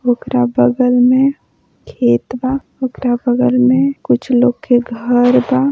ओकरा बगल में खेत बा ओकरा बगल में कुछ लोग घर बा।